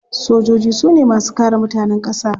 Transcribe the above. Sojoji su ne masu kare mutanen kasa.